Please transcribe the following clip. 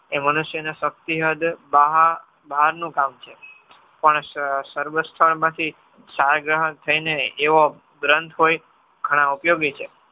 એ મનુષ્યને શક્તિ હદ બહારનું કામ છે પણ સર્વસ્થમતી થઈ ને એવો ગ્રંથ હોય ઘણો ઉપયોગી છે.